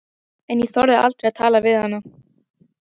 En ég þorði aldrei að tala við hana.